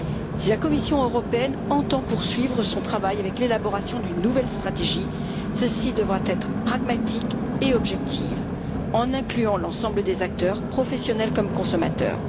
Si la Commission entend poursuivre son travail avec l'élaboration d'une nouvelle stratégie, celle ci devra être pragmatique et objective, en incluant l'ensemble des acteurs, professionnels et consommateurs.